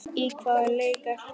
Í hvaða leik ertu?